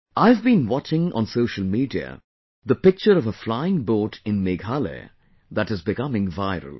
I have been watching on social media the picture of a flying boat in Meghalaya that is becoming viral